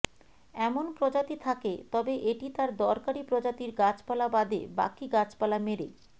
এমন প্রজাতি থাকে তবে এটি তার দরকারী প্রজাতির গাছপালা বাদে বাকী গাছপালা মেরে